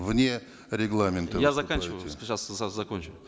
вне регламента я заканчиваю сейчас закончу